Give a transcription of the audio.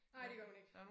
Nej det gør hun ikke